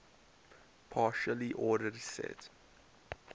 partially ordered set